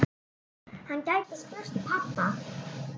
Hann gæti spurt pabba.